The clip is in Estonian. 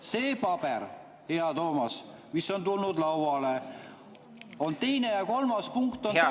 Sellel paberil, hea Toomas, mis on tulnud lauale, on teine ja kolmas punkt täpselt sama …